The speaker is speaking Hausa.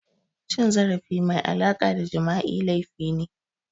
Cin zarafi mai alaƙa da Jima'i laifi ne